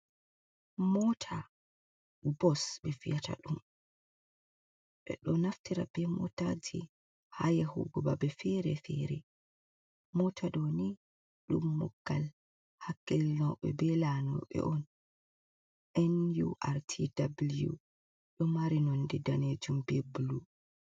Mota bu bos ɓe viyata ɗum. Ɓe ɗo naftira be motaji haa yahugo babe feere- feere. Mota ɗo ni ɗum muggal hakkealnɓe be lanyoɓe be on nurtw ɗ,o mari nonde daneejum be bulu.